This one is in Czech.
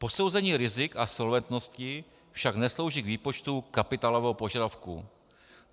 Posouzení rizik a solventnosti však neslouží k výpočtu kapitálového požadavku.